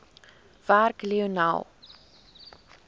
werk lionel